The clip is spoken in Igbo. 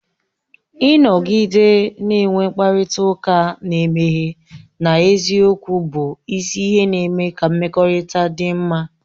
Ịnọgide na-enwe mkparịta ụka na-emeghe na eziokwu bụ isi ihe na-eme ka mmekọrịta dị mma